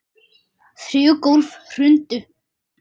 Þrjú gólf hrundu.